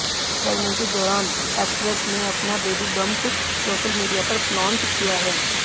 pregnancy दौरान actress ने अपना बेबी बंप सोशल मीडिया पर फ्लॉन्ट किया है